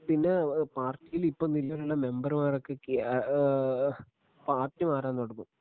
പിന്നെ പാർട്ടിയില് ഇപ്പോ നിലവിലുള്ള മെമ്പർമാരൊക്കെ കി ഏഹ് പാർട്ടി മാറാൻ തുടങ്ങും.